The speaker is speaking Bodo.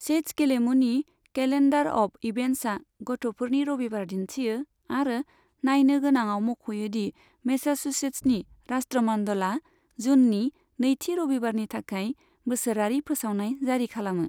चैस गेलेमुनि कैलेन्डार अफ इभेन्ट्सआ गथ'फोरनि रबिबार दिन्थियो आरो नायनो गोनाङाव मख'यो दि मैसाचुसेट्सनि राष्ट्रमंडलआ जूननि नैथि रबिबारनि थाखाय बोसोरारि फोसावनाय जारि खालामो।